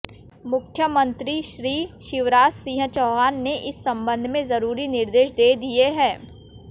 मुख्यमंत्री श्री शिवराज सिंह चौहान ने इस सम्बन्ध में जरुरी निर्देश दे दिए हैं